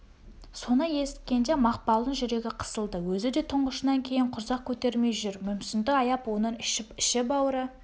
соны есіткенде мақпалдың жүрегі қысылды өзі де тұңғышынан кейін құрсақ көтермей жүр мүмсінді аяп оның іші-бауыры